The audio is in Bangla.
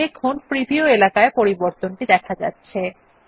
লক্ষ্য করুন প্রিভিউ এলাকায় পরিবর্তনটি দেখা যাচ্ছে